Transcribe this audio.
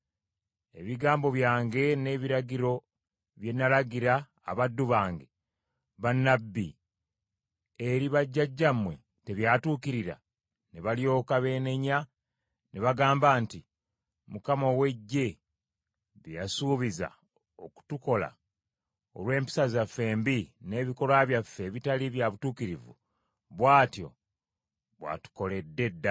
Ebigambo byange n’ebiragiro bye nalagira abaddu bange, bannabbi, eri bajjajjammwe tebyatuukirira? “Ne balyoka beenenya ne bagamba nti, ‘ Mukama ow’Eggye bye yasuubiza okutukola olw’empisa zaffe embi n’ebikolwa byaffe ebitali bya butuukirivu, bw’atyo bw’atukoledde ddala.’ ”